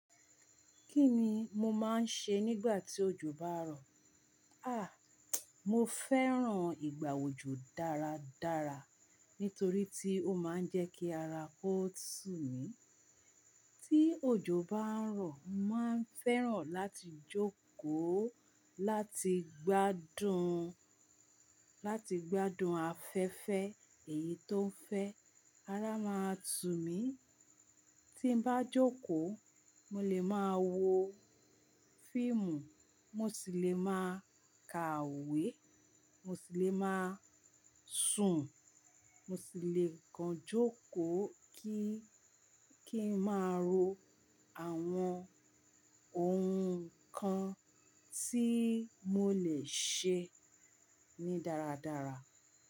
Kí ni mo máa ń ṣe nígbà tí òjò bá rọ̀? Àh! Mo fẹ́ràn ìgbà òjò dáradára nítorí tí ó máa ń jẹ́ kí ara kó tù mí. Tí òjò bá ń rọ̀, mo máa ń fẹ́ràn láti jókòó láti gbádùn, láti gbádùn afẹ́fẹ́ èyí tó ń fẹ́. Ara máa tú mí. Tí n bá jókòó, mo lè máa wo fíìmù, mo sì lè máa ka we, mo sì lè máa sùn, mo sì lè kan jókòó kí, kí n máa ro àwọn ohun kan tí mo lè ṣe ní dáradára.